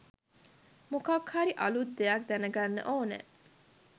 මොකක් හර් අලුත් දෙයක් දැනගන්න ඕනෙ